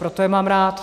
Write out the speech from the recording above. Proto je mám rád.